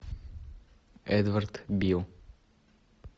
эдвард бил